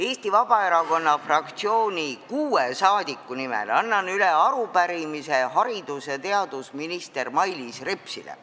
Eesti Vabaerakonna fraktsiooni kuue liikme nimel annan üle arupärimise haridus- ja teadusminister Mailis Repsile.